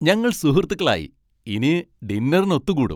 ഞങ്ങൾ സുഹൃത്തുക്കളായി. ഇനി ഡിന്നറിന് ഒത്തു കൂടും .